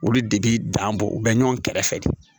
Olu de bi dan bɔ u bɛ ɲɔgɔn kɛrɛfɛ